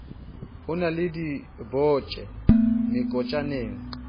ho ba le dibotjhe mekotjana